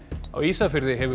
á Ísafirði hefur